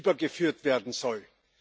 übergeführt werden sollen.